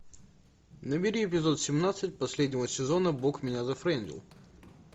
набери эпизод семнадцать последнего сезона бог меня зафрендил